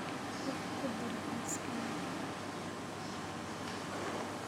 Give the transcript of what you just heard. wax ku dar liiskayga